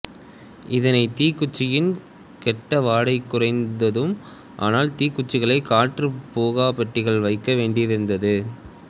இதனால் தீக்குச்சியின் கெட்ட வாடை குறைந்தது ஆனால் தீக்குச்சிகளை காற்றுப் புகா பெட்டிகளில் வைக்க வேண்டியிருந்தது